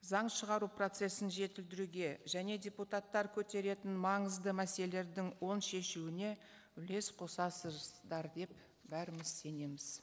заң шығару процессін жетілдіруге және депутаттар көтеретін маңызды мәселелердің оң шешуіне үлес деп бәріміз сенеміз